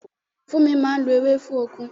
Fúnmi máa ń lo ewé fún okun